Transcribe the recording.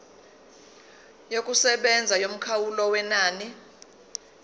yokusebenza yomkhawulo wenani